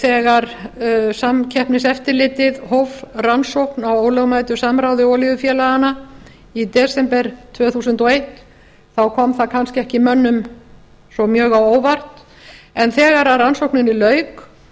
þegar samkeppniseftirlitið hóf rannsókn á ólögmætu samráði olíufélaganna í desember tvö þúsund og eitt kom það mönnum kannski ekki svo mjög á óvart en þegar rannsókninni lauk